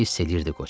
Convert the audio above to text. Hiss eləyirdi qoca.